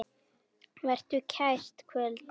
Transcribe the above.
Vertu kært kvödd, elsku systir.